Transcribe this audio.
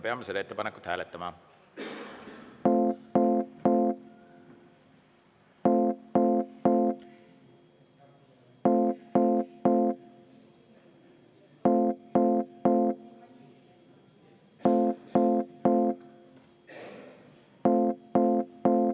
Peame seda ettepanekut hääletama.